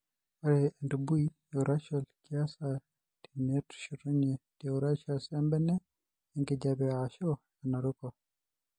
Ore entubui eurachal keasa teneshetunye teurachus embene enkijiape ashu enaruko.